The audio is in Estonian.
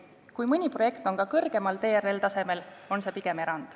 Kui mõni projekt on kõrgemal TRL-tasemel, on see pigem erand.